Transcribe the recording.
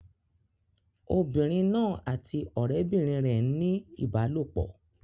Obìnrin náà àti ọ̀rẹ́bìnrin rẹ̀ ń ní ìbálòpọ̀.